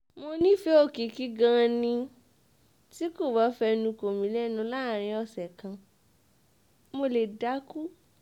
mo nífẹ̀ẹ́ òkìkí gan-an ni tí kò bá fẹnu kò mí lẹ́nu láàrin ọ̀sẹ̀ kan mo lè dákú